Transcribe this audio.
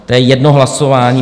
To je jedno hlasování...